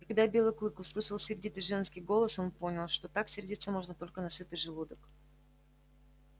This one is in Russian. и когда белый клык услышал сердитый женский голос он понял что так сердиться можно только на сытый желудок